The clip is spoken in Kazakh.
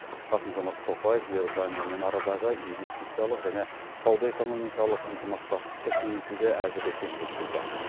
қасым жомарт тоқаев иорданиямен арадағы инвестициялық және сауда экономикалық ынтымақтастықты кеңейтуге әзір екенін жеткізді